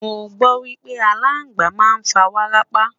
mọ gbo wipe alàgbà má n fa wárápá